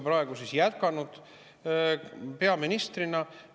See on teie pärand kliimaministri ametist.